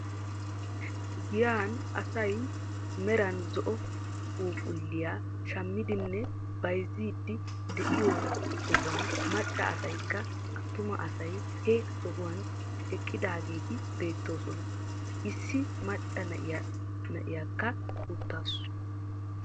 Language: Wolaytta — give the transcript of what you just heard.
Giyaan asay meran zo"o phuuphuliyaa shamiidinne bayziidi de'iyoo sohuwaan macca asaykka attuma asay he sohuwaan eqqidaageti beettoosona. issi macca na'iyaaka uttaasu.